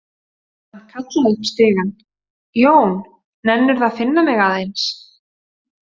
Hann kallaði upp stigann: „Jón, nennirðu að finna mig aðeins“?